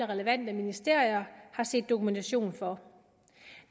relevante ministerier har set dokumentation for